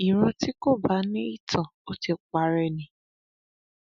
ìran tí kò bá ní ìtàn ò ti parẹ ni